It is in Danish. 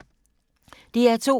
DR2